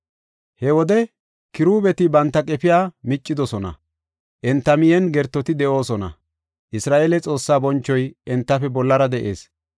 He wode Kiruubeti banta qefiya miccidosona; enta miyen gertoti de7oosona. Isra7eele Xoossaa bonchoy entafe bollara de7ees.